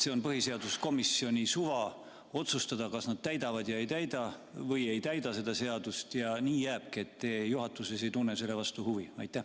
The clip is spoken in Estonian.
Kas on põhiseaduskomisjoni suva otsustada, kas nad täidavad või ei täida seda seadust ja nii jääbki, ja te juhatuses ei tunne selle vastu huvi?